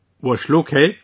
یہ شلوک ہے